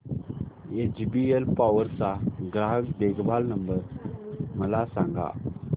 HBL power चा ग्राहक देखभाल नंबर मला सांगा